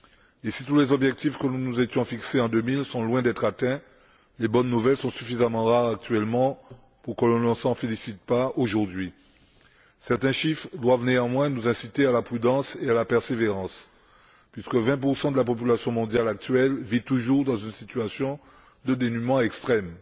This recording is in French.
Et si tous les objectifs que nous nous étions fixés en 2000 sont loin d'être atteints, les bonnes nouvelles sont suffisamment rares actuellement pour que l'on ne s'en félicite pas aujourd'hui. Certains chiffres doivent néanmoins nous inciter à la prudence et à la persévérance, puisque 20 de la population mondiale actuelle vit toujours dans une situation de dénuement extrême.